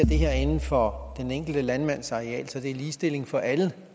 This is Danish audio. inden for den enkelte landmands areal så det er lige for alle